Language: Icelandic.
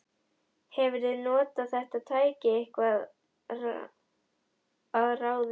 Hefurðu notað þetta tæki eitthvað að ráði?